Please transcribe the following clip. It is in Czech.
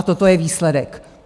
A toto je výsledek.